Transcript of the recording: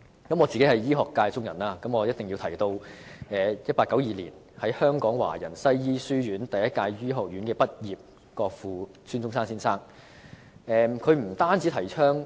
作為醫學界中人，我必須提及1892年於香港華人西醫書院第一屆醫學院畢業的國父孫中山先生，他不但提倡